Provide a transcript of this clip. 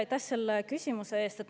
Aitäh selle küsimuse eest!